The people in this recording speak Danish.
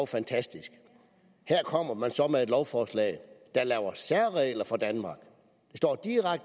fantastisk her kommer man så med et lovforslag der laver særregler for danmark